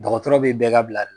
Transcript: Dɔgɔtɔrɔ bɛ bɛɛ ka bila la